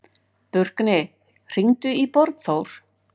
Burkni, hringdu í Borgþór.